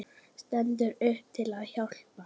Stendur upp til að hjálpa.